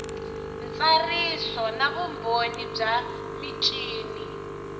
ntsariso na vumbhoni bya michini